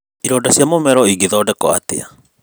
Ironda cia mũmero ingĩthondekwo atĩa?